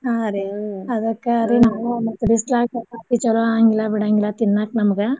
ಹಾ ರೀ ಅದಕ್ಕ ರೀ ನಾವು ಮತ್ತ ಬಿಸ್ಲಾಗ್ ಚಪಾತಿ ಚೊಲೋ ಆಗಂಗಿಲ್ಲ ಬಿಡಂಗಿಲ್ಲ ತಿನ್ನಾಕ್ ನಮ್ಗ.